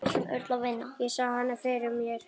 Ég sá hana fyrir mér.